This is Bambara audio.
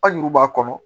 Hali n'u b'a kɔnɔ